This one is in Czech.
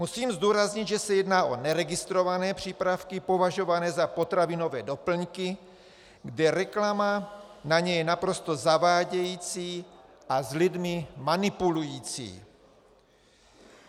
Musím zdůraznit, že se jedná o neregistrované přípravky považované za potravinové doplňky, kde reklama na ně je naprosto zavádějící a s lidmi manipulující.